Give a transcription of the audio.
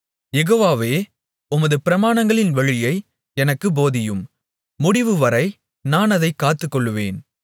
யெகோவாவே உமது பிரமாணங்களின் வழியை எனக்குப் போதியும் முடிவுவரை நான் அதைக் காத்துக்கொள்ளுவேன்